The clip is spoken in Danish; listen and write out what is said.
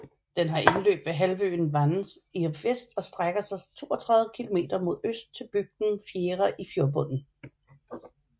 Den har indløb ved halvøen Vannes i vest og strækker sig 32 kilometer mod øst til bygden Fjæra i fjordbunden